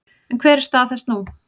En hver er stað þess nú?